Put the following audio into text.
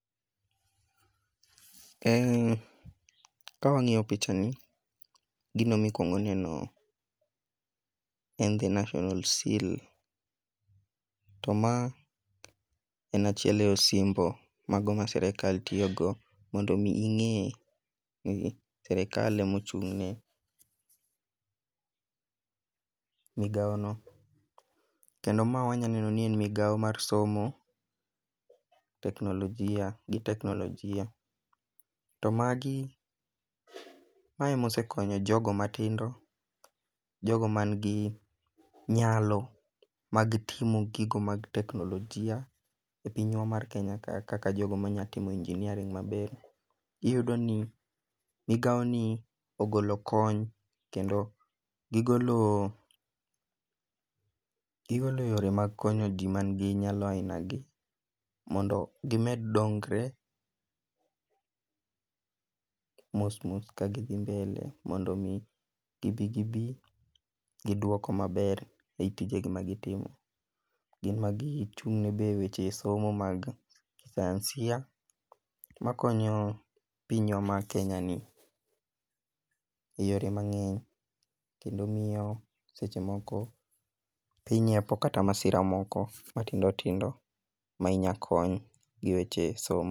Ka wang'iyo picha ni, gino mikwongo neno en the national seal to ma en achiel e osimbo mago ma sirikal tiyogo mondo omi ing'e ni sirikal emochung'ne migawono, kendo ma wanya neno ni en migawo mar somo, teknolojia gi teknolojia . To magi, mae emosekonyo jogo matindo, jogo ,manigi nyalo mag timo gigo mag teknolojia e pinywa mar Kenya ka, kaka jogo manyalo timo engineering maber. Iyudo ni migawoni ogolo kony, kendo gigolo yore mag konyoji manigi nyalo aina gi mondo gimed dongre mos mos kagidhi mbele mondo omi gibi gibi gidwoko maber ei tijegi magitimo. Gin magichung'ne be e weche somo mag kisayansia, makonyo pinywa ma Kenyani,e yore mang'eny, kendo miyo seche moko piny hepo kata masira moko matindo tindo ma inya kony gi weche somo.